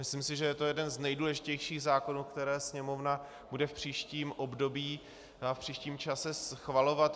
Myslím si, že je to jeden z nejdůležitějších zákonů, které Sněmovna bude v příštím období a v příštím čase schvalovat.